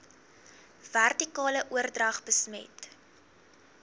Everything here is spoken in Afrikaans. vertikale oordrag besmet